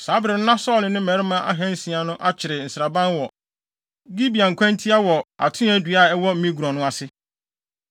Saa bere no na Saulo ne ne mmarima ahansia no akyere nsraban wɔ Gibea nkwantia wɔ atoaa dua a ɛwɔ Migron no ase.